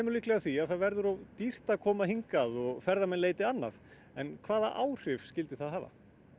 líklega að því að það verði of dýrt að koma hingað og ferðamenn leiti annað en hvaða áhrif myndi það hafa